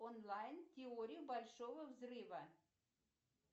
онлайн теория большого взрыва